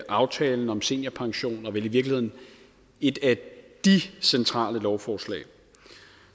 aftalen om seniorpension og vel i virkeligheden et af de centrale lovforslag